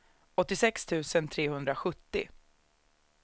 åttiosex tusen trehundrasjuttio